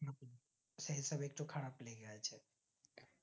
সেই সব একটু খারাপ লেগে যাচ্ছে